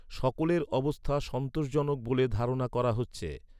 সকলের অবস্থা সন্তোষজনক বলে ধারণা করা হচ্ছে।